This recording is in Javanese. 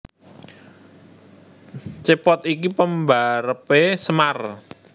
Cepot iki pembarepe Semar